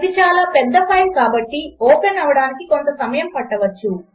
ఇది చాలా పెద్ద ఫైల్ కాబట్టి ఓపెన్ అవడానికి కొంత సమయము పట్టవచ్చు